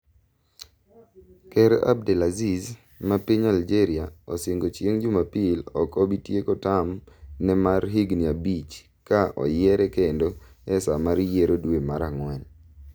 Ker Abdelaziz ma piny Algeria osingo chieng' jumapil ok obi tieko term ne mar higni abich ka oyiere kendo e saa mar yiero dwe mar ang'wen